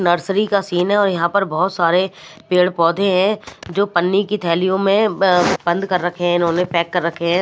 Nursery का scene है और यहां पर बहुत सारे पेड़-पौधे हैं जो पन्नी की थैलियों म्म में बंद कर रखे हैं इन्होंने पैक कर रखे हैं।